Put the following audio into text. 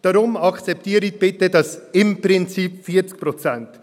Deshalb akzeptieren Sie bitte dieses «im Prinzip 40 Prozent».